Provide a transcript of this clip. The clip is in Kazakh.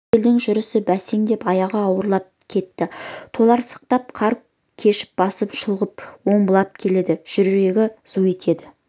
тортөбелдің жүрісі бәсеңдеп аяғы ауырлап кетті толарсақтан қар кешіп басын шұлғып омбылап келеді жүрегі зу ете